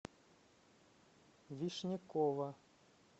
вишнякова